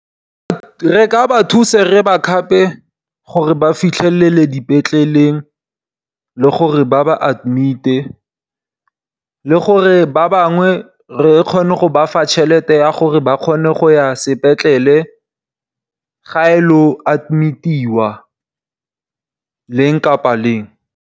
Re ka ba thusa re ba khape gore ba fitlhelele dipetleleng le gore ba ba admite. Le gore ba bangwe re kgone go ba fa tšhelete ya gore ba kgone go ya sepetlele ga e lo admitiwa leng kapa leng.